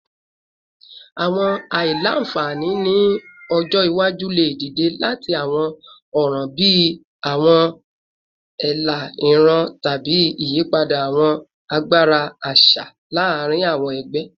Awọn aila-nfani ni ọjọ iwaju le dide lati awọn ọran bii awọn ela iran tabi iyipada awọn agbara aṣa laarin awọn ẹgbẹ